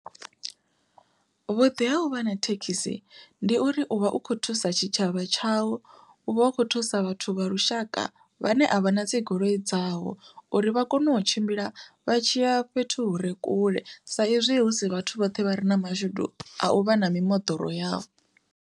Vhuḓi ha uvha na thekhisi ndi uri uvha u kho thusa tshitshavha tshau, u vha u kho thusa vhathu vha lushaka vhane a vha na dzigoloi dzavho uri vha kone u tshimbila vha tshiya fhethu hure kule sa izwi hu si vhathu vhoṱhe vha re na mashudu a u vha na mimoḓoro yavho.